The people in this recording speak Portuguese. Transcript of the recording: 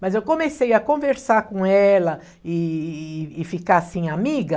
Mas eu comecei a conversar com ela e e e e ficar assim amiga...